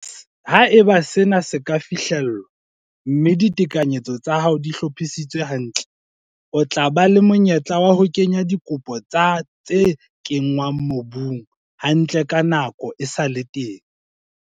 Ha eba sena se ka fihlellwa, mme ditekanyetso tsa hao di hlophisitswe hantle, o tla ba le monyetla wa ho kenya dikopo tsa tse kenngwang mobung hantle nako e sa le teng.